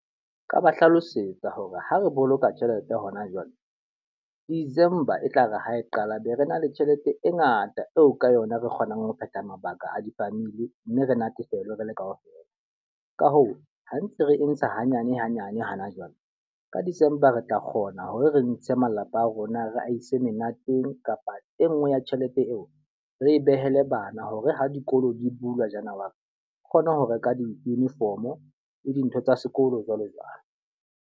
Nka ba hlalosetsa hore ha re boloka tjhelete hona jwale, December e tlare ha e qala be re na le tjhelete e ngata eo ka yona re kgonang ho phetha mabaka a di-familie mme re natefelwa re le ka ofela. Ka hoo, ha ntse re e ntsha hanyane hanyane hana jwale, ka December re tla kgona hore re ntshe malapa a rona re a ise menateng kapa e nngwe ya tjhelete eo, re e behele bana hore ha dikolo di bulwa January re kgone ho reka di-uniform le dintho tsa sekolo jwalo jwalo.